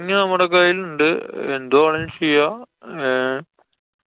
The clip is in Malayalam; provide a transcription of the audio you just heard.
മ്മടെ കയ്യില് ഇണ്ട്. എന്തു വേണേലും ചെയ്യാം. ങ്ഹേ?